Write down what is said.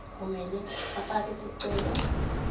kumele bafake sicelo